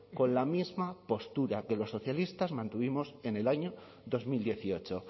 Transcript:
con la misma postura que los socialistas mantuvimos en el año dos mil dieciocho